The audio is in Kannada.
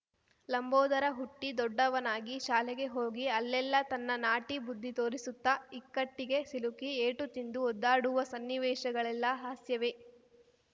ಲಂಬೋದರ ಹುಟ್ಟಿ ದೊಡ್ಡವನಾಗಿಶಾಲೆಗೆ ಹೋಗಿ ಅಲೆಲ್ಲ ತನ್ನ ನಾಟಿ ಬುದ್ಧಿ ತೋರಿಸುತ್ತಾ ಇಕ್ಕಟ್ಟಿಗೆ ಸಿಲುಕಿ ಏಟು ತಿಂದು ಒದ್ದಾಡುವ ಸನ್ನಿವೇಶಗಳೆಲ್ಲ ಹಾಸ್ಯವೇ